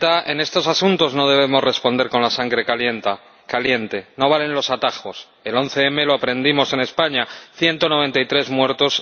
Señora Presidenta, en estos asuntos no debemos responder con la sangre caliente no valen los atajos. El 11 M lo aprendimos en España 193 muertos